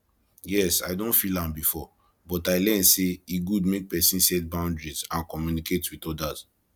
yes i don feel am before but i learn say e good make pesin set boundaries and communicate with odas